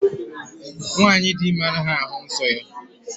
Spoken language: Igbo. Nwanyị dị ime anaghị ahụ nsọ ya